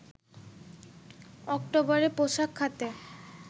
অক্টোবরে পোশাক খাতে